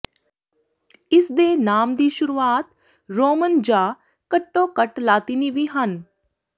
ਇਸ ਦੇ ਨਾਮ ਦੀ ਸ਼ੁਰੂਆਤ ਰੋਮਨ ਜਾਂ ਘੱਟੋ ਘੱਟ ਲਾਤੀਨੀ ਵੀ ਹਨ